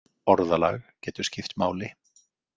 Orðalag getur skipt máli.